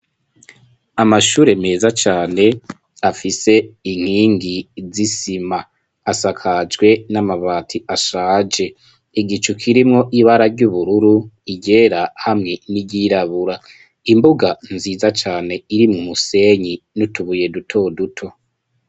Amashure meza cane afise inkingi z'isima, asakajwe n'amabati ashaje, igicu kirimwo ibara ry'ubururu, iryera hamwe n'iryirabura, imbuga nziza cane irimwo umusenyi n'utubuye duto duto.